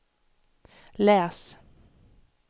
läs